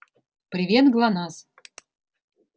привет гланаз